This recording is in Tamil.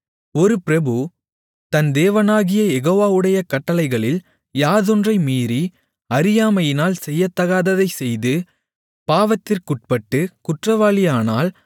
ஒரு பிரபு தன் தேவனாகிய யெகோவாவுடைய கட்டளைகளில் யாதொன்றை மீறி அறியாமையினால் செய்யத்தகாததைச் செய்து பாவத்திற்குட்பட்டுக் குற்றவாளியானால்